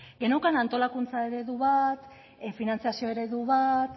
geneukan antolakuntza eredu bat finantziazio eredu bat